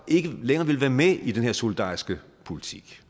ikke længere vil være med i den her solidariske politik